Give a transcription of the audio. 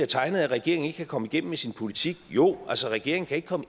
tegnet af at regeringen ikke kan komme igennem med sin politik jo altså regeringen kan ikke komme